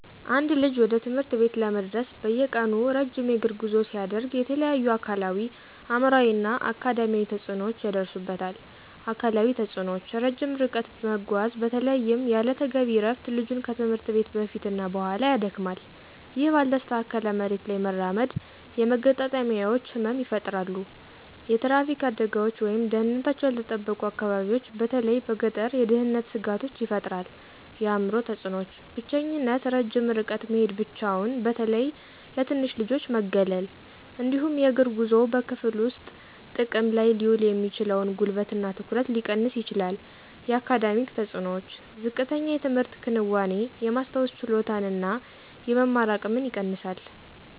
አንድ ልጅ ወደ ትምህርት ቤት ለመድረስ በየቀኑ ረጅም የእግር ጉዞ ሲያደርግ የተለያዩ አካላዊ፣ አእምሯዊ እና አካዳሚያዊ ተጽዕኖዎች ይደርሱበታል። አካላዊ ተጽእኖዎች - ረጅም ርቀት መጓዝ በተለይም ያለ ተገቢ እረፍት ልጁን ከትምህርት ቤት በፊት እና በኋላ ያደክማል። ይህ ባልተስተካከለ መሬት ላይ መራመድ የመገጣጠሚያዎች ህመም ይፈጠራሉ። የትራፊክ አደጋዎች ወይም ደህንነታቸው ያልተጠበቁ አካባቢዎች በተለይ በገጠር የደህንነት ስጋቶች ይፈጥራል። የአእምሮ ተፅእኖዎች - ብቸኝነት ረጅም ርቀት መሄድ ብቻውን በተለይ ለትንንሽ ልጆች መገለል። እንዲሁም የእግር ጉዞው በክፍል ውስጥ ጥቅም ላይ ሊውል የሚችለውን ጉልበት እና ትኩረት ሊቀንስ ይችላል። የአካዳሚክ ተፅእኖዎች - ዝቅተኛ የትምህርት ክንዋኔ፣ የማስታወስ ችሎታን እና የመማር አቅምን ይቀንሳል።